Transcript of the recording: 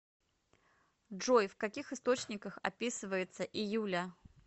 джой в каких источниках описывается июля